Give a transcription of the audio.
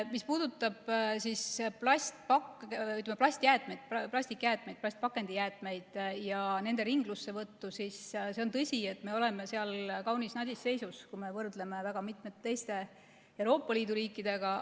Mis puudutab plastikjäätmeid, plastpakendijäätmeid ja nende ringlussevõtu, siis on tõsi, et me oleme kaunis nadis seisus, kui võrdleme end väga mitmete teiste Euroopa Liidu riikidega.